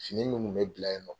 Fini mun kun bɛ bila ye nɔ.